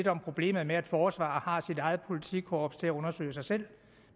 om problemet med at forsvaret har sit eget politikorps til at undersøge sig selv